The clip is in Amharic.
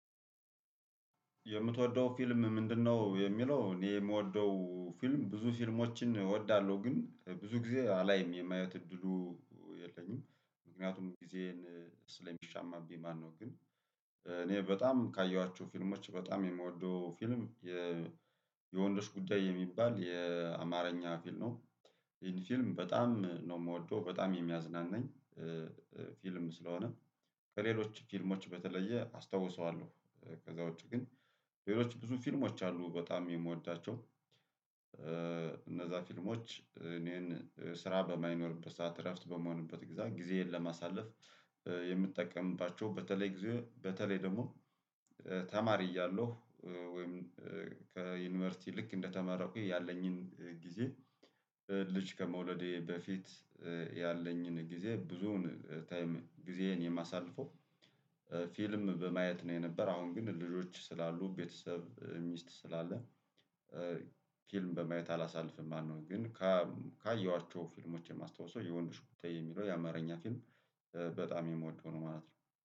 የምትወደው ፊልም ምንድነው? የሚለው እኔ የምወደው ፊልም ብዙ ፊልሞችን እወዳለሁ ግን ብዙ ጊዜ አላይም የማየት እድሉ የለኝም ምክንያቱም ጊዜን ስለሚሻማብኝ ማለት ነው። ግን እኔ በጣም ካየኋቸው ፊልሞች በጣም የምወደው ፊልም የወንዶ ጉዳይ የሚባል የአማርኛ ፊልም ነው። ይሄን ፊልም በጣም ነው የምወደው በጣም የሚያዝናናኝ ፊልም ስለሆነ ከሌሎች ፊልሞች በተለየ አስታውሰዋለሁ። ከዛ ውጪ ግን ሌሎች ብዙ ፊልሞች አሉ በጣም የምወዳቸው። እነዛ ፊልሞች እኔን ስራ በማይኖርበት ሰዓት እረፍት በምሆንበት ጊዜዬን ለማሳለፍ የምጠቀምባቸው በተለይ በተለይ ደግሞ ተማሪ እያለሁ ወይም ከዩኒቨርሲቲ ልክ እንደተማረኩኝ ያለኝን ጊዜ ልጅ ከመውለዴ በፊት ያለኝን ጊዜ ብዙውን ታይም ጊዜዬን የማሳልፈው ፊልም በማየት ነው። የነበር አሁን ግን ልጆች ስላሉ ቤተሰብ ሚስት ስላለ ፊልም በማየት አላሳልፍም ማለት ነው። ግን ካየኋቸው ፊልሞች የማስታውሰው የወንድ ጉዳይ የሚለው የአማርኛ ፊልም በጣም የምወደው ነው ማለት ነው